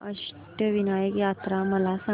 अष्टविनायक यात्रा मला सांग